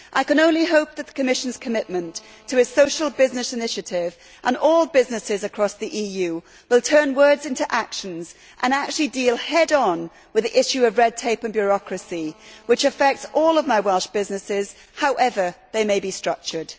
I can only hope that the Commission's commitment to a social business initiative and all businesses across the EU will turn words into action and actually deal head on with the issue of red tape and bureaucracy which affects all of my Welsh businesses, however they may be structured.